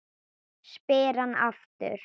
spyr hann aftur.